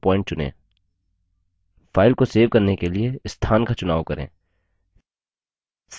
file को save करने के लिए स्थान का चुनाव करें save बटन पर क्लिक करें